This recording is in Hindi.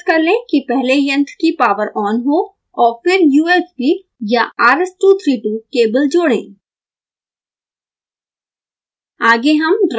हमेशा निश्चित कर लें कि पहले यंत्र की पॉवर ऑन हो और फिर usb/rs232 केबल जोड़ें